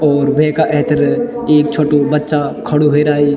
और वेका एैथर एक छोट्टू बच्चा खडू ह्वेराई।